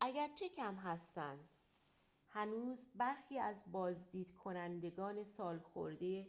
اگرچه کم هستند هنوز برخی از بازدید کنندگان سالخورده